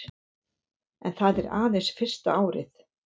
En það er aðeins fyrsta árið